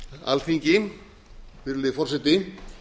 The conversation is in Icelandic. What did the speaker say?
alþingi virðulegi forseti